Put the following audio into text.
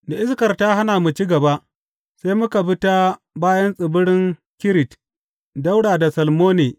Da iskar ta hana mu ci gaba, sai muka bi ta bayan tsibirin Kirit ɗaura da Salmone.